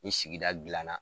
Ni sigida dilanna